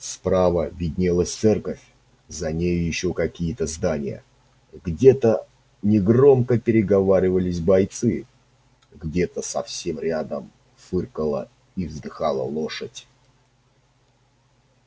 справа виднелась церковь за нею ещё какие то здания где то негромко переговаривались бойцы где то совсем рядом фыркала и вздыхала лошадь